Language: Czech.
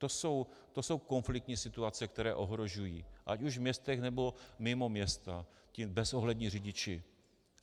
To jsou konfliktní situace, které ohrožují ať už v městech, nebo mimo města, ti bezohlední řidiči.